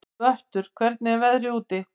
Vöttur, hvernig er veðrið úti?